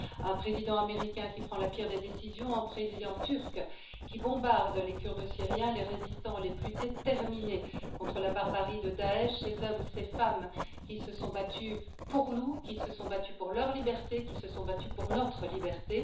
Un président américain qui prend la pire des décisions, un président turc qui bombarde les Kurdes syriens les résistants les plus déterminés contre la barbarie de Daech ces hommes et ces femmes qui se sont battus pour nous, qui se sont battus pour leur liberté, qui se sont battus pour notre liberté.